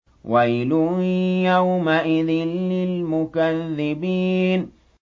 وَيْلٌ يَوْمَئِذٍ لِّلْمُكَذِّبِينَ